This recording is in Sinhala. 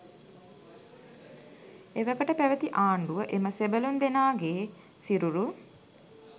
එවකට පැවැති ආණ්ඩුව එම සෙබළුන්දෙනාගේ සිරුරු